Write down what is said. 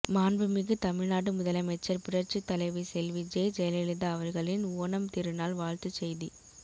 மாண்புமிகு தமிழ்நாடு முதலமைச்சர் புரட்சித் தலைவி செல்வி ஜெ ஜெயலலிதா அவர்களின் ஓணம் திருநாள் வாழ்த்துச் செய்தி